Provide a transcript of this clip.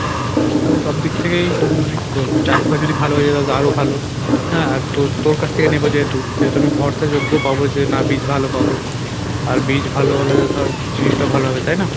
তো সবদিক থেকে মানে কী বলবো চাষ টা যদি ভালো হয়ে যায় তালে তো আরো ভালো হ্যাঁ আর তো তোর কাছ থেকে নেবো যেহেতু সেহেতু আমি ভর্সাযজ্ঞ পাবো যে না বীজ ভালো পাবো আর বীজ ভালো হলেও ধর জিনিসটা ভালো হবে তাই না?